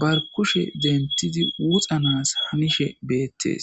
bar kushe dentidi wuxanas hanishe beettes.